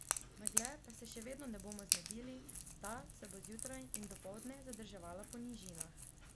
Megle pa se še vedno ne bomo znebili, ta se bo zjutraj in dopoldne zadrževala po nižinah.